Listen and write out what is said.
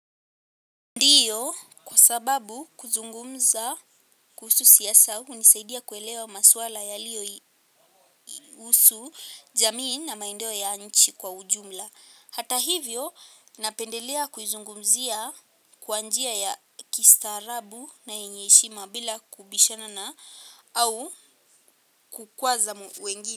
Ndiyo kwa sababu kuzungumza kuhusu siasa hunisaidia kuelewa maswala yaliyo husu jamii na maendeo ya nchi kwa ujumla. Hata hivyo napendelea kuzungumzia kwa njia ya kistaarabu na yenye heshima bila kubishanana eau kukwaza wengini.